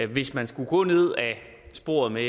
hvis man skulle gå ned ad sporet med